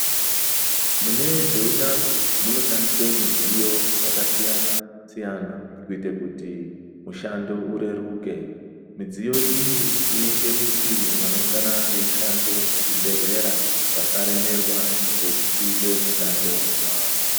Mune zvehutano munoshandiswa midziyo yakasiyana-siyana kuita kuti mushando ureruke midziyo iyi inoita kuti vangoungana veishanda muzvibhedhlera vasaremerwa ngekuita mishando yavo.